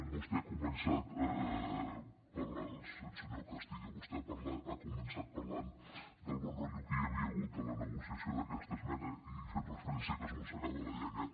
vostè ha començat senyor castillo parlant del bon rotllo que hi havia hagut en la negociació d’aquesta esmena i fent referència a que es mossegava la llengua